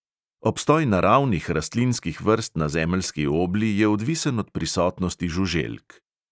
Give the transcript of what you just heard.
Obstoj naravnih rastlinskih vrst na zemeljski obli je odvisen od prisotnosti žuželk.